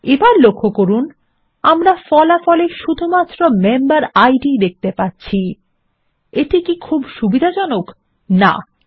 এবার লক্ষ্য করুন আমরা ফলাফল এ শুধুমাত্র মেম্বেরিড দেখতে পাচ্ছি এটা খুব একটা সুবিধাজনক নয় তাই না160